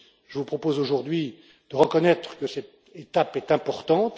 Je vous propose aujourd'hui de reconnaître que cette étape est importante.